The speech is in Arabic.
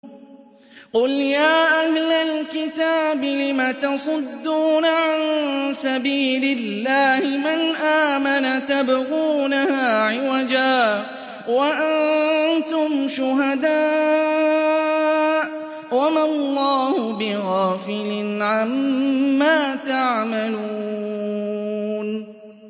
قُلْ يَا أَهْلَ الْكِتَابِ لِمَ تَصُدُّونَ عَن سَبِيلِ اللَّهِ مَنْ آمَنَ تَبْغُونَهَا عِوَجًا وَأَنتُمْ شُهَدَاءُ ۗ وَمَا اللَّهُ بِغَافِلٍ عَمَّا تَعْمَلُونَ